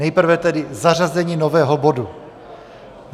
Nejprve tedy zařazení nového bodu.